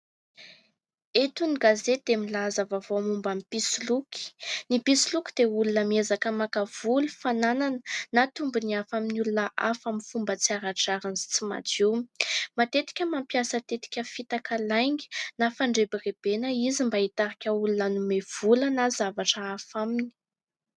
Eto ny gazety dia milaza vaovao momba ny mpisoloky. Ny mpisoloky dia olona miezaka maka vola, fananana na tombony hafa amin'ny olona hafa amin'ny fomba tsy ara-drariny sy tsy madio. Matetika mampiasa tetika, fitaka, lainga na fandrebirebena izy mba hitarika olona hanome vola na zavatra hafa aminy.